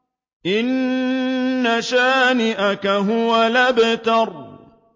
إِنَّ شَانِئَكَ هُوَ الْأَبْتَرُ